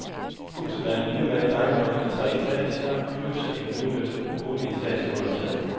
Huset er en hvidmalet ejendom i tre etager plus en udnyttet boligetage under taget.